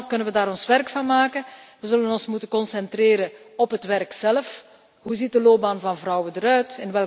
Samen kunnen we daar werk van maken. We zullen ons moeten concentreren op het werk zelf. Hoe ziet de loopbaan van vrouwen eruit?